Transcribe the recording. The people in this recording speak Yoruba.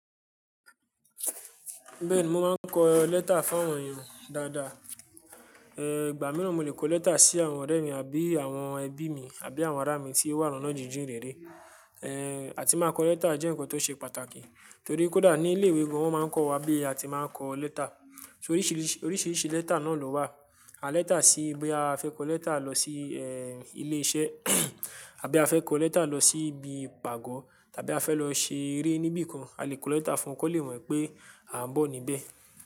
Bẹ́ẹ̀ni, mo máa ń kọ lẹ́tà fún àwọn èèyàn dáadáa. Igba mìíràn mo lè kọ lẹ́tà sí àwọn ọ̀rẹ́ mi àbí àwọn ẹbí mi àbí àwọn ara mi tí ó wà ni oná jìn-jìn rere. Áti máa kọ lẹ́tà jẹ́ ǹkan tó ṣe pàtàkì torí kódà ní ilé ìwé gan wọ́n máa ń kọ́ wa bí a ti máa ń kọ lẹ́tà. Oríṣìríṣì, oríṣìríṣì lẹ́tà náà ló wà. À lẹ́tà sí bí a fẹ́ kọ lẹ́tà lọ sí ilé iṣẹ́ àbí a fẹ́ kọ lẹ́tà lọ sí ibi ìpàgọ́ tàbí a fẹ́ lọ ṣe eré níbìkan, a lè kọ lẹ́tà fún wọn kó lè wẹ̀ pé à ń bọ̀ níbẹ̀